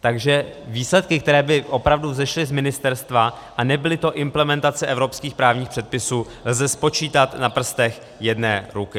Takže výsledky, které by opravdu vzešly z ministerstva a nebyly to implementace evropských právních předpisů, lze spočítat na prstech jedné ruky.